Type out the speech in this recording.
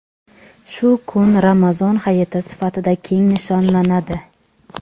shu kun Ramazon hayiti sifatida keng nishonlanadi.